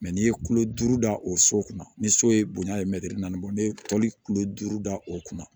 n'i ye tulo duuru da o so kunna ni so ye bonya ye mɛtiri naani bɔ ne ye tɔli kilo duuru da o kunna